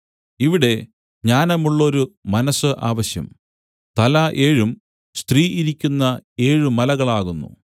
ഇവിടെ ജ്ഞാനമുള്ള മനസ്സ് ആവശ്യം തല ഏഴും സ്ത്രീ ഇരിക്കുന്ന ഏഴ് മലകളാകുന്നു